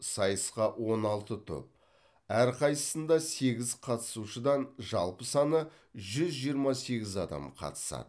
сайысқа он алты топ әрқайсысында сегіз қатысушыдан жалпы саны жүз жиырма сегіз адам қатысады